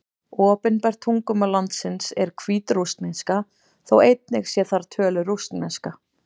Opinbert tungumál landsins er hvítrússneska, þótt einnig sé þar töluð rússneska.